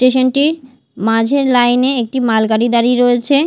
Station -টি মাঝের line -এ একটি মালগাড়ি দাঁড়িয়ে রয়েছে।